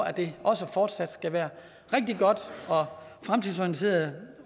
at det også fortsat skal være rigtig godt og fremtidsorienteret